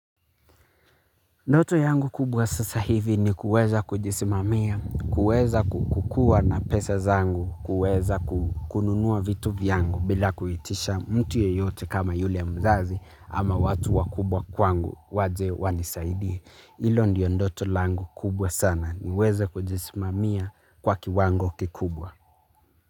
Ndoto yangu kubwa sasa hivi ni kuweza kujisimamia, kuweza kukuwa na pesa zangu, kuweza kununua vitu vyangu bila kuitisha mtu yoyote kama yule mzazi ama watu wakubwa kwangu waje wanisaidie. Ilo ndiyo ndoto langu kubwa sana niweza kujisimamia kwa kiwango kikubwa.